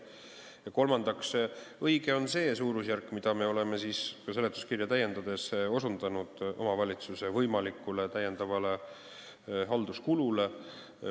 Kolmandaks, õige on see suurusjärk, mida me oleme ka seletuskirja täiendades pannud kirja omavalitsuse võimaliku täiendava halduskulu kohta.